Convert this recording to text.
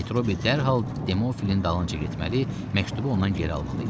Metrobi dərhal Demofilin dalınca getməli, məktubu ondan geri almalı idi.